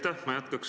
Aitäh!